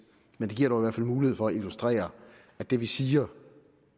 men det giver mulighed for at illustrere at det vi siger